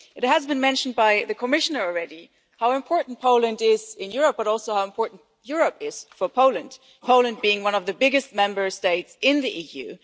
It has been mentioned by the Commissioner already how important Poland is in Europe, and also how important Europe is for Poland, Poland being one of the biggest Member States in the EU.